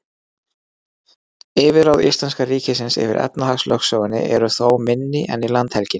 yfirráð íslenska ríkisins yfir efnahagslögsögunni eru þó minni en í landhelginni